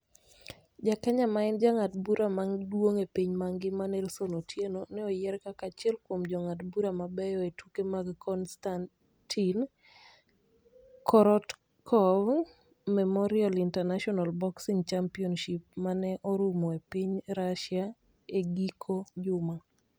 Ja Kenya ma en jang'ad bura maduong' e piny mangima Nelson Otieno ne oyier kaka achiel kuom jong'ad bura mabeyo e tuke mag Konstatin Korotkov Memorial International Boxing Championships ma ne orumo e piny Russia e giko juma.